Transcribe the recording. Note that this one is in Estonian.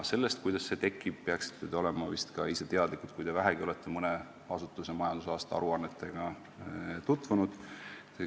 Sellest, kuidas see tekib, peaksite te olema vist ka ise teadlikud, kui te vähegi olete mõne asutuse majandusaasta aruannetega tutvunud.